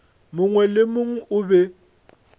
mongwe le mongwe o be